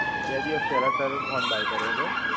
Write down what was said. બે દિવસ પેહલા Sir, phone buy કર્યો હતો.